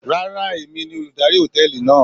Rárá, èmi ni olùdarí hòtẹ́ẹ̀lì náà.